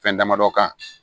Fɛn damadɔ kan